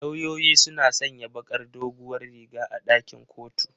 Lauyoyi suna sanya bakar doguwar riga a ɗakin kotu.